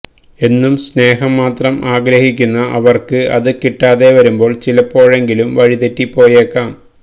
എന്നും സ്നേഹം മാത്രം ആഗ്രഹിക്കുന്ന അവര്ക്ക് അത് കിട്ടാതെ വരുമ്പോള് ചിലപ്പോഴെങ്കിലും വഴിതെറ്റി പോയേക്കാം